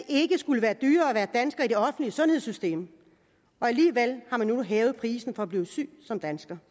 skulle være dyrere at være dansker i det offentlige sundhedssystem og alligevel har man nu hævet prisen på at blive syg som dansker